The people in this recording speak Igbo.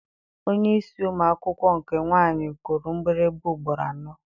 Onyeisi ụmụ akwụkwọ nke nwaanyị kụrụ mgbịrịgba ugboro anọ.